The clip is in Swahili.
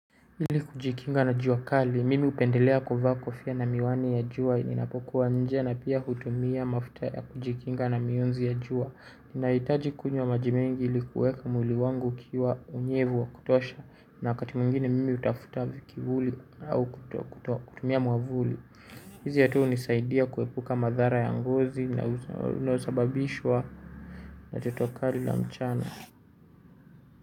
Ili kujikinga na jua kali mimi upendelea kuvaa kofia na miwani ya jua ninapokuwa nje na pia hutumia mafuta ya kujikinga na mionzi ya jua ninahitaji kunywa maji mengi ili kuweka mwili wangu kuwa na unyevu wa kutosha na wakati mwingine mimi hutafuta kivuli au kutumia mwavuli hizi hatu hunisaidia kuepuka madhara ya ngozi yanayosababishwa na jotokali la mchana.